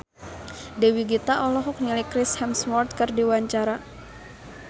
Dewi Gita olohok ningali Chris Hemsworth keur diwawancara